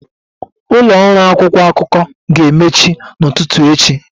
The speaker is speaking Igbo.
Ụlọ ọrụ akwụkwọ akụkọ ga-emechi n'ụtụtụ echi.